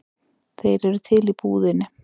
Þeir eru til í búðinni.